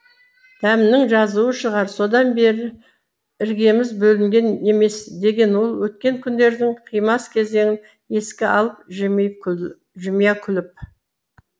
дәмнің жазуы шығар содан бері іргеміз бөлінген емес деген ол өткен күндердің қимас кезеңін еске алып жымиып күл жымия күліп